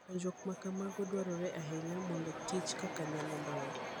Puonjruok ma kamago dwarore ahinya mondo kich kaka onyalo dongo.